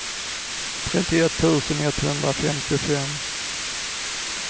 trettioett tusen etthundrafemtiofem